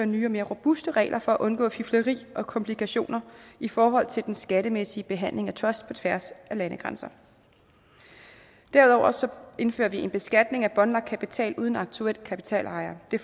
nye og mere robuste regler for at undgå fifleri og komplikationer i forhold til den skattemæssige behandling af truster på tværs af landegrænser derudover indfører vi en beskatning af båndlagt kapital uden aktuel kapitalejer det